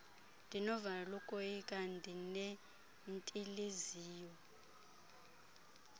ndinovalo lokoyika ndinentiliziyo